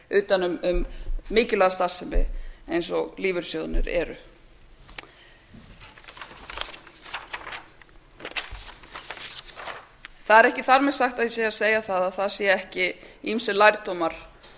utan um mikilvæga starfsemi eins og lífeyrissjóðirnir eru það er ekki þar með sagt að ég sé að segja að það séu ekki ýmsir lærdómar